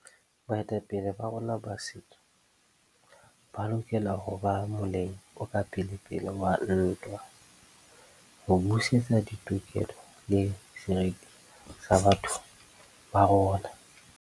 Baetapele ba rona ba setso ba lokela ho ba moleng o ka pelepele wa ntwa ho busetsa ditokelo le seriti sa batho ba rona.